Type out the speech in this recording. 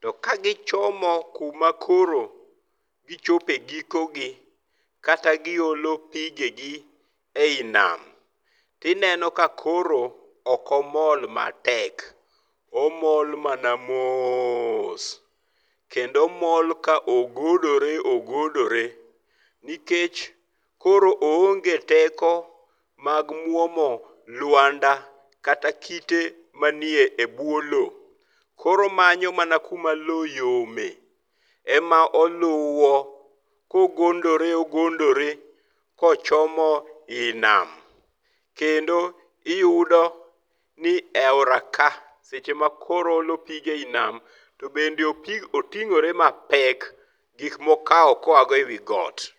To ka gichomo kuma koro gichopo e giko gi, kata giolo pigegi ei nam, tineno ka koro ok omol matek. Omol mana moos, kendo omol ka ogodore ogodore. Nikech koro oonge teko mag muomo lwanda kata kite manie ebwo lo. Koro omanyo mana kuma lo yome, ema oluwo kogondore ogondore kochomo i nam. Kendo iyudo ni eaora ka seche ma koro oolo pige ei nam to bende oting'ore mapek gik mokawo koago ewi got.